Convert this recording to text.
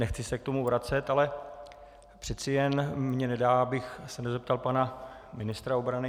Nechci se k tomu vracet, ale přeci jen mi nedá, abych se nezeptal pana ministra obrany.